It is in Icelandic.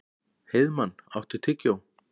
Heiðmann, áttu tyggjó?